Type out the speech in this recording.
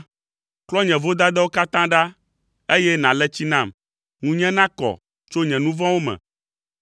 Klɔ nye vodadawo katã ɖa, eye nàle tsi nam ŋunye nakɔ tso nye nu vɔ̃wo me.